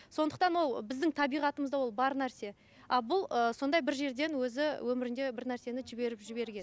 сондықтан ол біздің табиғатымызда ол бар нәрсе а бұл ыыы сондай бір жерден өзі өмірінде бір нәрсені жіберіп жіберген